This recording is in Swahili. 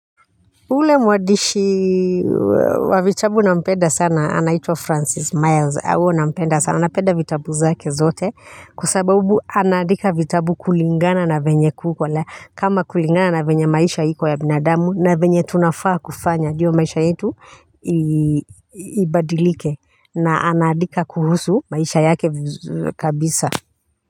Ule mwadishi wa vitabu nampenda sana anaitwa Francis Myles awo nampenda sana napenda vitabu zake zote kwasababu anaandika vitabu kulingana na venye kuko. Kama kulingana na venye maisha iko ya binadamu na venye tunafaa kufanya diyo maisha yetu ii ibadilike, na anaadika kuhusu maisha yake vizu kabisa.